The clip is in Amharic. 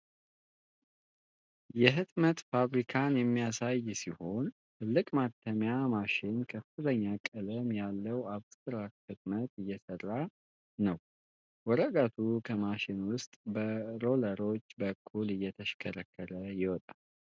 የሕትመት ፋብሪካን የሚያሳይ ሲሆን፣ ትልቅ ማተሚያ ማሽን ከፍተኛ ቀለም ያለው አብስትራክት ህትመት እየሰራ ነው። ወረቀቱ ከማሽኑ ውስጥ በሮለሮች በኩል እየተሽከረከረ ይወጣል።